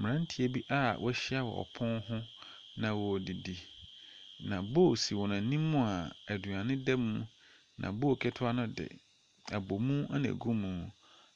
Mmranteɛ bi a wahyia wɔ pono ho na wodidi. Na bol si wɔn anim a aduane da mu. Na bol ketewa ne de abomu ɛna egu mu.